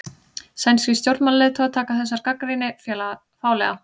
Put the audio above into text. Sænskir stjórnmálaleiðtogar taka þessari gagnrýni fálega